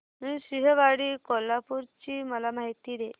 नृसिंहवाडी कोल्हापूर ची मला माहिती दे